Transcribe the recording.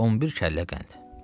11 kəllə qənd.